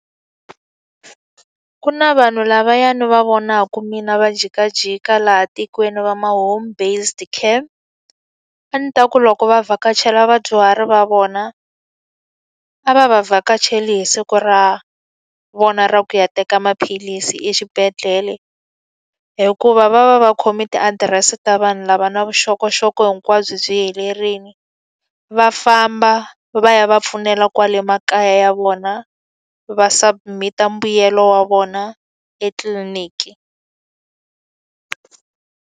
Ku na vanhu lavaya ni va vonaka mina va jikajika laha tikweni va ma home based care. A ndzi ta ku loko va vhakachela vadyuhari va vona, a va va vhakachele hi siku ra vona ra ku ya teka maphilisi exibedhlele. Hikuva va va va khome tiadirese ta vanhu lava na vuxokoxoko hinkwabyo byi byerile, va famba va ya va pfunela kwale makaya ya vona va submit-a mbuyelo wa vona etliliniki.